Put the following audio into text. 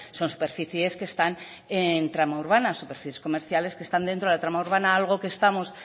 son superficies que están en tramo urbano superficies comerciales que están dentro de la trama urbana algo que estamos